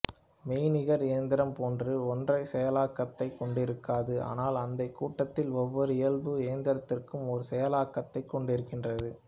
மெய்நிகர் இயந்திரம் போன்று ஒற்றைச் செயலாக்கத்தைக் கொண்டிருக்காது ஆனால் அந்தக் கூட்டத்தில் ஒவ்வொரு இயல்பு இயந்திரத்திற்கும் ஒரு செயலாக்கத்தைக் கொண்டிருக்கின்றது